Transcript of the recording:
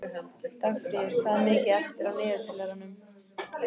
Dagfríður, hvað er mikið eftir af niðurteljaranum?